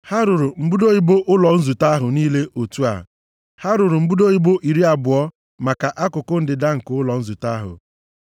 Ha rụrụ mbudo ibo iri abụọ maka akụkụ ndịda nke ụlọ nzute ahụ,